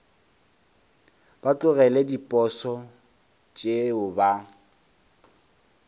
ba tlogele diposo tšeo ba